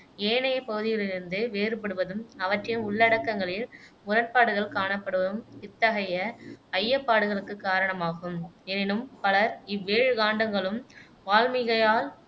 ஏனைய பகுதிகளிலிருந்து வேறுபடுவதும் அவற்றின் உள்ளடக்கங்களில் முரண்பாடுகள் காணப்படுவதும் இத்தகைய ஐயப்பாடுகளுக்குக் காரணமாகும் எனினும் பலர் இவ்வேழு காண்டங்களும் வால்மீகியால்